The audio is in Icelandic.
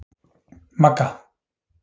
Magga